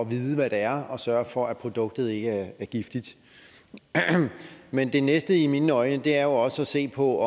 vide hvad det er og sørge for at produktet ikke er giftigt men det næste i mine øjne er jo også at se på